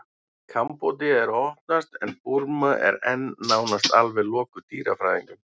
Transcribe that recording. kambódía er að opnast en burma er enn nánast alveg lokuð dýrafræðingum